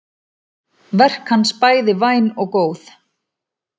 Verk hans bæði væn og góð.